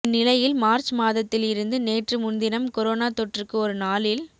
இந்நிலையில் மார்ச் மாதத்தில் இருந்து நேற்று முன்தினம் கொரோனா தொற்றுக்கு ஒருநாளில்